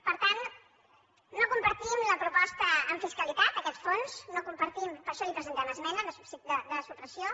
per tant no compartim la proposta en fiscalitat aquest fons no ho compartim per això li presentem esmena de supressió